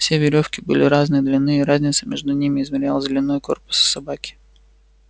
все верёвки были разной длины и разница между ними измерялась длиной корпуса собаки